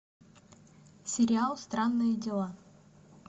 сериал странные дела